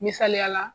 Misaliyala